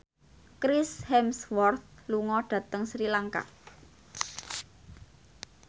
Chris Hemsworth lunga dhateng Sri Lanka